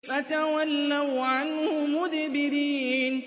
فَتَوَلَّوْا عَنْهُ مُدْبِرِينَ